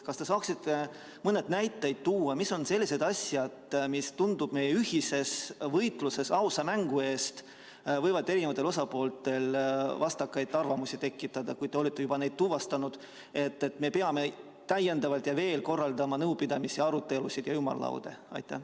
Kas te saaksite mõne näite tuua, mis on need asjad, mis meie ühises võitluses ausa mängu eest võivad eri osapooltel vastakaid arvamusi tekitada, kui te olete need tuvastanud, et me peame veel nõupidamisi, arutelusid ja ümarlaudasid korraldama?